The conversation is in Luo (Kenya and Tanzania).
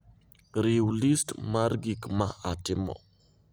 riw list mar gik ma atimo